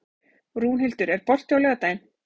Rúnhildur, er bolti á laugardaginn?